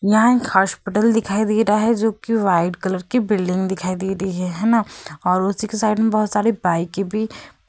यहाँ एक हॉस्पिटल दिखाई दे रहा है जोकि व्हाइट कलर की बिल्डिंग दिखाई दे रही है। है न और उसी के साइड मे बहोत सारी बाइकें भी --